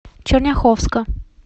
черняховска